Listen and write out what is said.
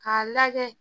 K'a lajɛ